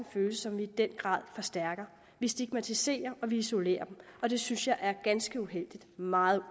følelse som vi i den grad forstærker vi stigmatiserer og isolerer dem og det synes jeg er ganske uheldigt meget